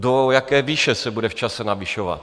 Do jaké výše se bude v čase navyšovat?